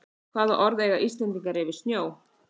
Hvaða orð eiga Íslendingar yfir snjó?